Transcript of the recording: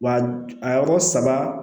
Wa a yɔrɔ saba